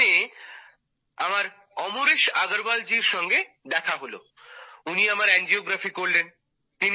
ওখানে আমার অমরেশ আগরওয়ালজির সঙ্গে দেখা হলো উনি আমার এনজিওগ্রাফি করলেন